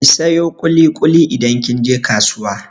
Ki sayo ƙuli-ƙuli idan kin je kasuwa!